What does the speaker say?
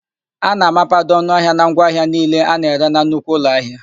A na-amapado ọnụahịa na ngwa ahịa niile a na-ere na nnukwu ụlọahịa.